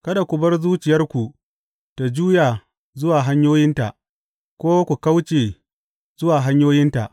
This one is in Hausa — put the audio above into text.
Kada ku bar zuciyarku ta juya zuwa hanyoyinta ko ku kauce zuwa hanyoyinta.